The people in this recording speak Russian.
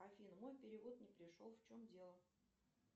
афина мой перевод не пришел в чем дело